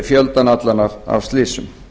fjöldann allan af slysum